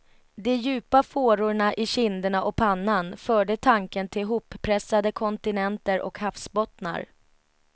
De djupa fårorna i kinderna och pannan förde tanken till hoppressade kontinenter och havsbottnar.